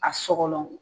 A sogo